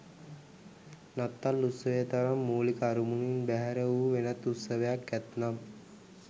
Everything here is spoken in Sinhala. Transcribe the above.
නත්තල් උත්සවය තරම් මූලික අරමුණින් බැහැර වූ වෙනත් උත්සවයක් ඇත්නම්